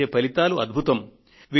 వచ్చే ఫలితాలు అద్భుతం